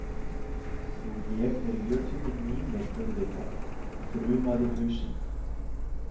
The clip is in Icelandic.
Nú ég er jötunninn Mímir auðvitað, þrumaði hausinn.